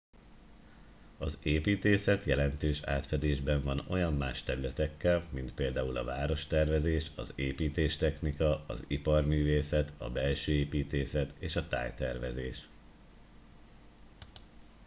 az építészet jelentős átfedésben van olyan más területekkel mint például a várostervezés az építéstechnika az iparművészet a belsőépítészet és a tájtervezés